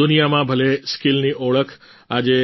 દુનિયામાં ભલે સ્કિલની ઓળખ આજે